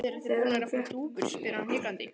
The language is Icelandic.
Eruð þið búnir að fá dúfur? spyr hann hikandi.